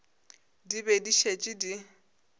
di be di šetše di